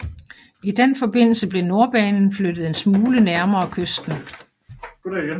I den forbindelse blev Nordbanen flyttet en smule nærmere kysten